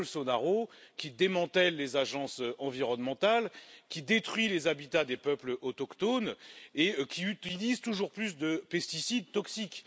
Bolsonaro qui démantèle les agences environnementales, qui détruit les habitats des peuples autochtones et qui utilise toujours plus de pesticides toxiques.